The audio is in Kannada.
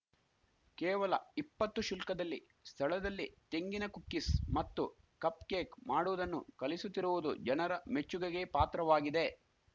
ಕೇವಲ ಇಪ್ಪತ್ತು ಶುಲ್ಕದಲ್ಲಿ ಸ್ಥಳದಲ್ಲೇ ತೆಂಗಿನ ಕುಕ್ಕಿಸ್‌ ಮತ್ತು ಕಪ್‌ ಕೇಕ್‌ ಮಾಡುವುದನ್ನು ಕಲಿಸುತ್ತಿರುವುದು ಜನರ ಮೆಚ್ಚುಗೆಗೆ ಪಾತ್ರವಾಗಿದೆ